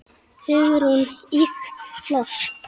Hugrún: Ýkt flott.